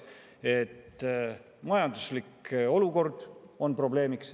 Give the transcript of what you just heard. Esiteks, majanduslik olukord on probleemiks.